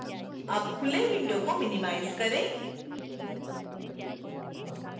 अब खुले windows को minimize करें